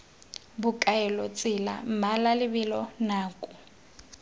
bokaelo tsela mmala lebelo nako